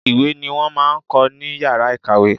Ìwé ni wọ́n máa ń kọ́ ní yàrá ìkàwé.